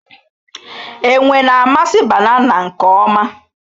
Enwe na-amasị banana nke ọma